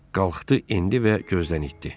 Qalxdı, endi və gözdən itdi.